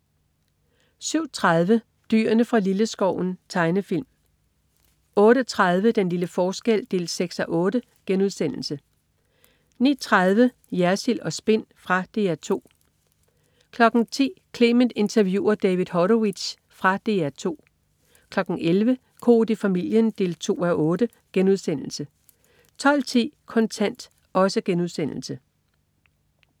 07.30 Dyrene fra Lilleskoven. Tegnefilm 08.30 Den lille forskel 6:8* 09.30 Jersild & Spin. Fra DR 2 10.00 Clement interviewer David Horowitz. Fra DR 2 11.00 Koht i familien 2:8* 12.10 Kontant*